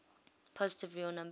positive real number